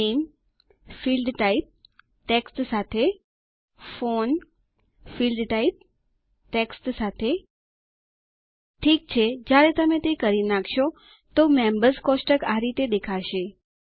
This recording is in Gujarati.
નામે ફિલ્ડટાઇપ ટેક્સ્ટ સાથે ફોન ફિલ્ડટાઇપ ટેક્સ્ટ સાથે ઠીક છે જ્યારે તમે તે કરી નાખશો તો મેમ્બર્સ કોષ્ટક આ રીતે દેખાશે